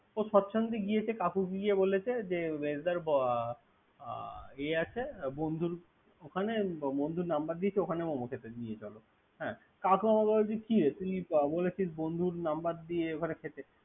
ও সেচ্ছন্দে গিয়েছে, কাকুকে গিয়ে বলেছে। মেজদা বা ওয়া আছে। বন্ধুর ওখানে বন্ধূর নাম্বার দিয়েছে। ওখান মোমো খেটে দিয়ে যাবে। কাকু আমাকে বলে তুই কিরে বলেছিল বন্দুর নাম্বার দিয়ে ওখানে খেতে।